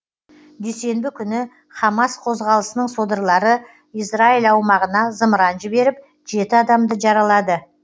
дүйсенбі күні хамас қозғалысының содырлары израиль аумағына зымыран жіберіп жеті адамды жаралады